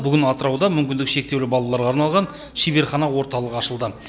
бүгін атырауда мүмкіндігі шектеулі балаларға арналған шеберхана орталық ашылды